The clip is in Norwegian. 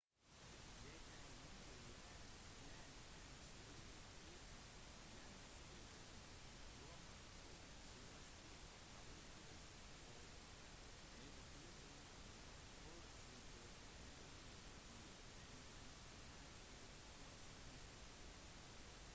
det har lenge vært kjent at ulike typer hjerneskader traumer og svulster påvirker adferden og forårsaker endringer i enkelte mentale funksjoner